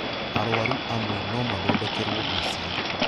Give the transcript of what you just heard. Arũaru amwe no mathondekerwo mĩciĩ